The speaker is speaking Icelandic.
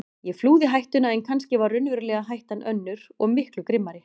Ég flúði hættuna en kannski var raunverulega hættan önnur og miklu grimmari.